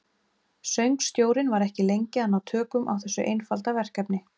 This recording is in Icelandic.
Söngstjórinn var ekki lengi að ná tökum á þessu einfalda verkefni.